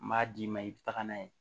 N b'a d'i ma i bɛ taga n'a ye